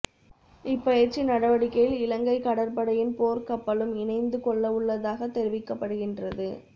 இப்பயிற்சி நடவடிக்கையில் இலங்கைக் கடற்படையின் போர்க் கப்பலும் இணைந்து கொள்ளவுள்ளதாகத் தெரிவிக்கப்படுகின்றது